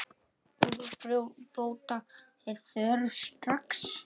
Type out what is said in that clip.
Úrbóta er þörf strax.